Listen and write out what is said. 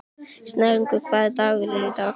Snælaugur, hvaða dagur er í dag?